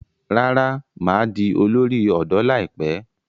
Rárá, mà á di olórí ọ̀dọ́ láìpẹ́.